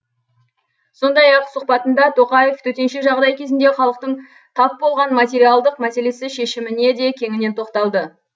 сондай ақ өз сұқбатында тоқаев төтенше жағдай кезінде халықтың тап болған материалдық мәселесі шешіміне де кеңінен тоқталды